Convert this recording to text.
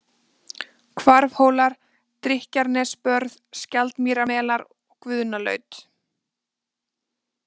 Hvarfhólar, Drykkjarnesbörð, Skjaldmýrarmelar, Guðnalaut